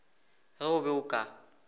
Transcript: ge o be o ka